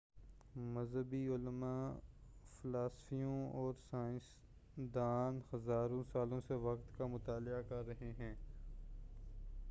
مذہبی علماء فلسفیوں اور سائنسدان ہزاروں سالوں سے وقت کا مطالعہ کرتے رہے ہیں